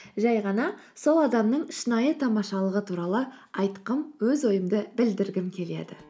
жай ғана сол адамның шынайы тамашылығы туралы айтқым өз ойымды білдіргім келеді